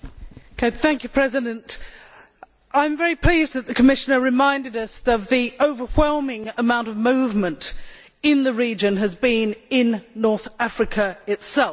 Madam President, I am very pleased that the Commissioner reminded us that the overwhelming amount of movement in the region has been in North Africa itself.